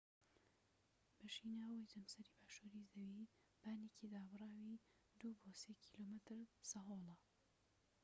بەشی ناوەوەی جەمسەری باشووری زەوی بانێکی دابڕاوی ٢-٣ کیلۆمەتر سەهۆڵە